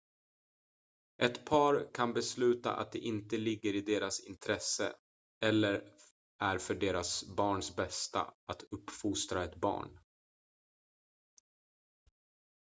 ett par kan besluta att det inte ligger i deras intresse eller är för deras barns bästa att uppfostra ett barn